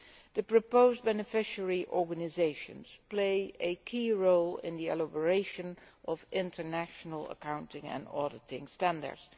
The proposed beneficiary organisations play a key role in the elaboration of international accounting and auditing standards.